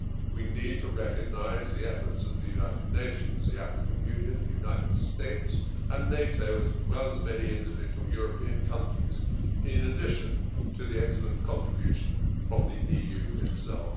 We need to recognise the efforts of the United Nations, the African Union, the United States and NATO, as well as many individual European countries, in addition to the excellent contribution from the EU itself.